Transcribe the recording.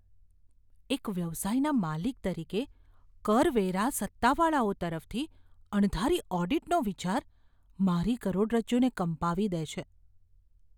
એક વ્યવસાયના માલિક તરીકે, કરવેરા સત્તાવાળાઓ તરફથી અણધારી ઓડિટનો વિચાર મારી કરોડરજ્જુને કંપાવી દે છે.